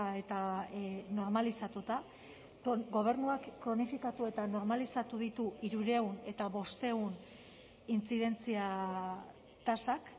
eta normalizatuta gobernuak kronifikatu eta normalizatu ditu hirurehun eta bostehun intzidentzia tasak